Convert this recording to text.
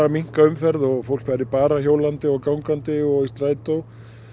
minnka umferð og fólk færi bara hjólandi og gangandi og í strætó